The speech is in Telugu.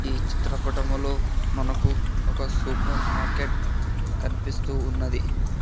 ఈ చిత్రపటములో మనకు ఒక సూపర్ మార్కెట్ కనిపిస్తూ ఉన్నది.